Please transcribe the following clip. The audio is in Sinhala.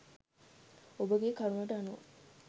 ඔබගේ කරුණට අනුව